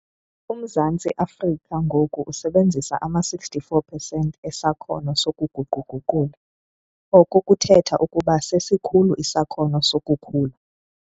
UMzantsi Afrika ngoku usebenzisa ama-64 pesenti esakhono sokuguqu-guqula, oko kuthetha ukuba sesikhulu isakhono sokukhula.